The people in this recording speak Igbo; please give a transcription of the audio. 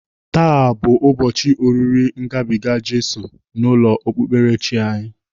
Taa bụ ụbọchị oriri ngabiga Jizọs n'ụlọ okpukperechi anyị.